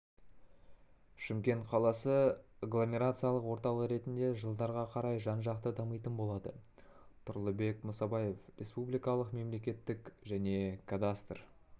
шымкент қаласы агломерациялық орталық ретінде жылдарға қарай жан-жақты дамитын болады тұрлыбек мұсабаев республикалық мемлекеттік және кадастр